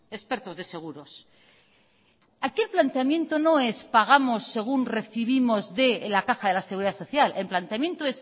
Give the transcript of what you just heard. expertos de seguros aquel planteamiento no es pagamos según recibimos de la caja de la seguridad social el planteamiento